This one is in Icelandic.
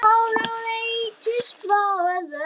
Án áreitis frá öðrum.